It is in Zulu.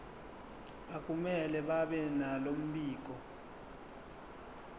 akumele babenalo mbiko